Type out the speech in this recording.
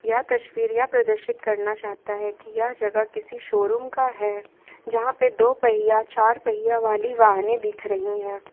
यह तस्वीरें यह प्रदर्शित करना चाहता है कि यह जगह किसी शोरूम का है जहां पर दो पहिया चार पहिया वाली वाहने दिख रही है।